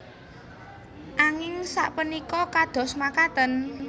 Anging sapunika kados mekaten